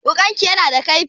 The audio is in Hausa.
Wuƙanki yana da kaifi?